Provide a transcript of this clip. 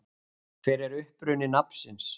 Hver er uppruni nafnsins?